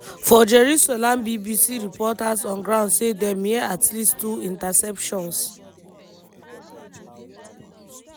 flashes for sky above tel aviv tel aviv appear to show air defences dey stop some incoming fire.